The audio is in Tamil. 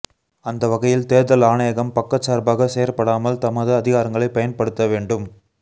அந்தவகையில் தேர்தல் ஆணையகம் பக்கச்சார்பாக செயற்படாமல் தமது அதிகாரங்களை பயன்படுத்த வேண்டும்